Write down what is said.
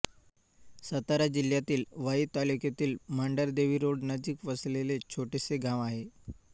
सातारा जिल्यातील वाई तालुक्यातील मांढरदेवी रोड नजीक वसलेले छोटेसे गाव आहे